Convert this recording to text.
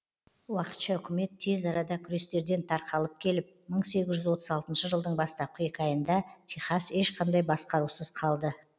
уақытша үкімет тез арада күрестерден тарқалып кетіп мың сегіз жүз отыз алтыншы жылдың бастапқы екі айында техас ешқандай басқарусыз қалды